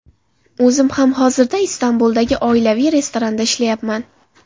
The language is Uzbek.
O‘zim ham hozirda Istanbuldagi oilaviy restoranda ishlayapman.